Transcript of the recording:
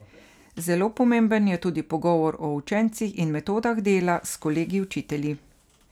Zelo pomemben je tudi pogovor o učencih in metodah dela s kolegi učitelji.